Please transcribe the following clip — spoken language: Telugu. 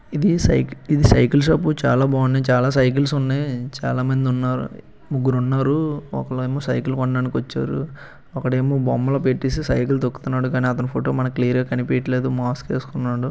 ఇదీ సైక్ ఇది సైకిల్ షాప్ . చాలా బా ఉన్నాయ్. చాలా సైకిల్స్ ఉన్నాయ్. చాలా మంది ఉన్నారు. ముగ్గురు ఉన్నారూ ఒకలేమో సైకిల్ కొనడానికి వచ్చారు. ఒకడేమో బొమ్మల పెట్టేసి సైకిల్ తొక్కుతున్నాడు. కానీ అతని ఫోటో మనకు క్లియర్ గా కనిపియట్లేదు. మాస్క్ ఏసుకున్నాడు.